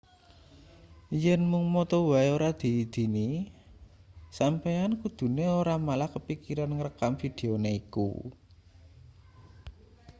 yen mung moto wae ora diidini sampeyan kudune ora malah kepikiran ngrekam videone iku